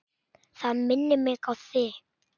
Það minnir mig á þig.